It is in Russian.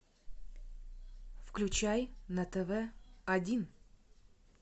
включай на тв один